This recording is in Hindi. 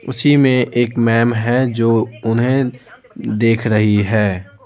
उसी में एक मैम है जो उन्हें देख रही है।